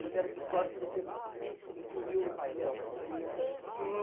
Uma dessas histórias que você incluiu no painel.